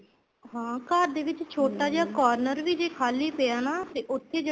ਹਾਂ ਘਰ ਦੇ ਵਿੱਚ ਛੋਟਾ ਜਾ corner ਵੀ ਜ਼ੇ ਖ਼ਾਲੀ ਪਿਆ ਨਾ ਤੇ ਉੱਥੇ ਜਿਹੜਾ